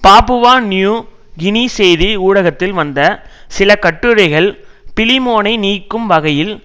Papua New Guinea செய்தி ஊடகத்தில் வந்த சில கட்டுரைகள் பிலிமோனை நீக்கும் வகையில்